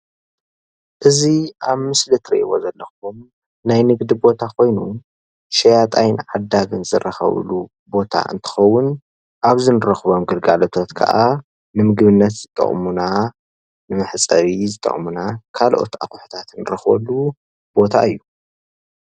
እዚ ኣብ ምስሊ ትርእይዎ ዘለኹም ናይ ንግዲ ቦታ ኾይኑ ሸያጣይን ዓዳግን ዝራኸብሉ ቦታ እንትኸዉን ኣብዚ እንረኽቦም ግልጋሎታት ክዓ ንምግብነት ዝጠቕሙና መሕፀቢ ዝጠቕሙና ካልኦት ኣቑሕታትን ንረኽበሉ ቦታ እዩ፡፡